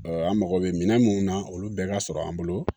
an mago bɛ minɛn minnu na olu bɛɛ ka sɔrɔ an bolo